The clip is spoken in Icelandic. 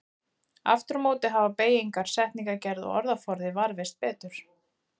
Aftur á móti hafa beygingar, setningagerð og orðaforði varðveist betur.